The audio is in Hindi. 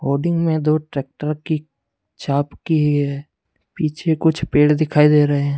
होर्डिंग में दो ट्रैक्टर की चाप की है पीछे कुछ पेड़ दिखाई दे रहे हैं।